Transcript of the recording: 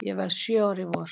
Ég verð sjö ára í vor.